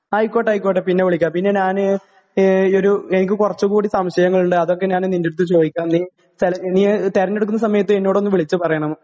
ആയിക്കോട്ടെ, ആയിക്കോട്ടെ.പിന്നെ വിളിക്കാം.പിന്നെ ഞാന്..എനിക്ക് കുറച്ചുകൂടി സംശയങ്ങളുണ്ട്, അതൊക്കെ ഞാന് നിന്റടുത്ത് ചോദിക്കാം..നീ തെരഞ്ഞെടുക്കുന്ന സമയത്ത് എന്നോടൊന്ന് വിളിച്ചുപറയണം.